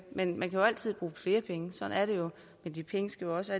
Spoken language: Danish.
men man kan altid bruge flere penge sådan er det jo men de penge skal jo også